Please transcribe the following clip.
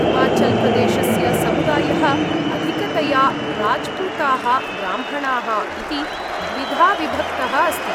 हिमाचल्प्रदेशस्य समुदायः अधिकतया राज्पूताः, ब्राह्मणाः इति द्विधा विभक्तः अस्ति।